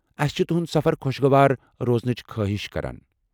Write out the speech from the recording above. اسہِ چھِ تُہُنٛد سفر خوشگوار روزنٕچہِ خٲہِش كران ۔